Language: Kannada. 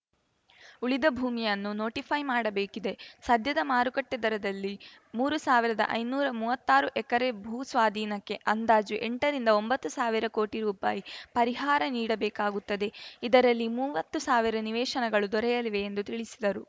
ಉಳಿದ ಭೂಮಿಯನ್ನು ನೋಟಿಫೈ ಮಾಡಬೇಕಿದೆ ಸದ್ಯದ ಮಾರುಕಟ್ಟೆದರದಲ್ಲಿ ಮೂರು ಸಾವಿರದ ಐನೂರ ಮೂವತ್ತಾರು ಎಕರೆ ಭೂ ಸ್ವಾಧೀನಕ್ಕೆ ಅಂದಾಜು ಎಂಟರಿಂದ ಒಂಬತ್ತು ಸಾವಿರ ಕೋಟಿ ರುಪಾಯಿ ಪರಿಹಾರ ನೀಡಬೇಕಾಗುತ್ತದೆ ಇದರಲ್ಲಿ ಮುವ್ವತ್ತುಸಾವಿರ ನಿವೇಶನಗಳು ದೊರೆಯಲಿವೆ ಎಂದು ತಿಳಿಸಿದರು